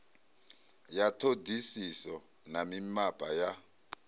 ya ṱhoḓisiso na mimapa ya